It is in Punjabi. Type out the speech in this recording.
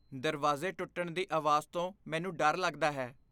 ਦਰਵਾਜ਼ੇ ਟੁੱਟਣ ਦੀ ਆਵਾਜ਼ ਤੋਂ ਮੈਨੂੰ ਡਰ ਲੱਗਦਾ ਹੈ।